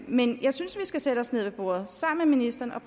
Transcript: men jeg synes vi skal sætte os ned ved bordet sammen med ministeren og